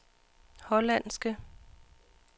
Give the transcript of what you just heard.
hollandske